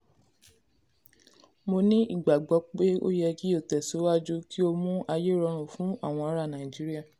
Mo ní ìgbàgbọ́ pé ó yẹ kí o tẹ̀síwájú kí o mú ayé rọrùn fún àwọn ara [cs Nigeria